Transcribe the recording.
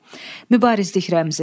Mübarizlik rəmzi.